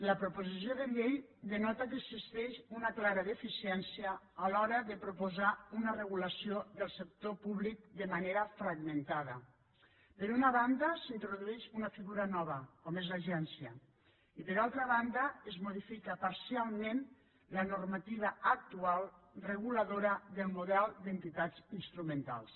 la proposició de llei denota que existeix una clara deficiència a l’hora de proposar una regulació del sector públic de manera fragmentada per una banda s’introdueix una figura nova com és l’agència i per altra banda es modifica parcialment la normativa actual reguladora del model d’entitats instrumentals